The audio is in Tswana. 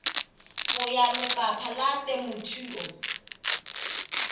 ya go lefapha la temothuo